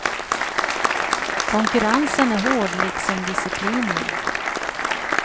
Konkurrensen är hård, liksom disciplinen.